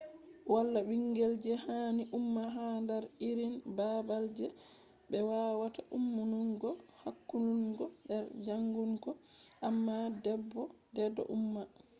wala bingel je hani umma ha dar irin babal je be wawata ummungo hakkulungo br jangungo amma bedo umma